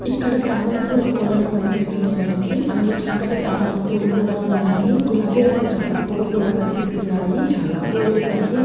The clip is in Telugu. ఇక్కడ తామర పూలు కొలను కనిపిస్తుంది మనకి. అందులో చక్కటి తామర పూలు కూడా ఉన్నాయి. గులాబీ రంగు తామర పూలు కూడా కనిపిస్తున్నాయి.చాలా పూలు ఉన్నాయి.